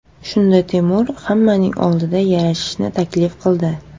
Shunda Temur hammaning oldida yarashishni taklif qildi.